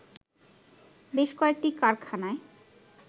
বেশ কয়েকটি কারখানায়